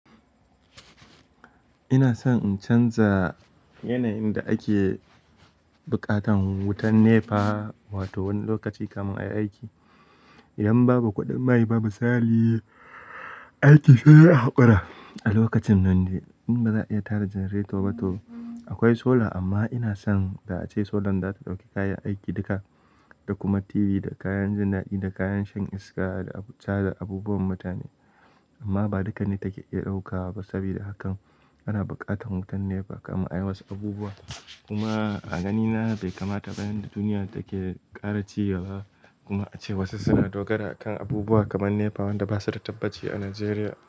Ina son in canza yanayin da ake buƙatan wutar NEPA, wato wani lokaci kamun ayi aiki idan babu kuɗin mai, babu sali aiki zai yi haƙura. A lokacin nan dai in ba za ka iya tada janareto ba to akwai sola. Amma ina son da ace solan za ta ɗauki kayan aiki duka da kuma TV da kayan jin daɗi da kayan shan iska da abuta da abubuwan mutane. Amma ba duka ne take iya ɗaukawa ba, saboda hakan ana buƙatan wutar NEPA kaman a yi wasu abubuwa. Kuma a ganina bai kamata bayan da duniya take ƙara ci gaba kuma ace wasu suna dogara kan abubuwa kaman NEPA wanda basa da tabbaci a Najeriya.